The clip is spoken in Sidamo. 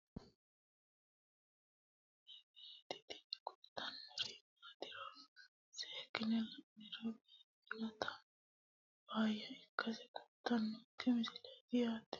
tini lowo geeshsha biiffannoti dancha gede biiffanno footo danchu kaameerinni haa'noonniti qooxeessa biiffannoti tini kultannori maatiro seekkine la'niro biiffannota faayya ikkase kultannoke misileeti yaate